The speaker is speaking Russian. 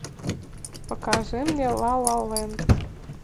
покажи мне ла ла ленд